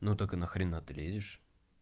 ну так и на хрена ты лезешь